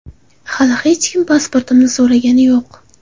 Hali hech kim pasportimni so‘ragani yo‘q.